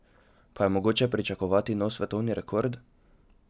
Pa je mogoče pričakovati nov svetovni rekord?